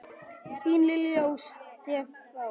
Þín Lilja og Stefán.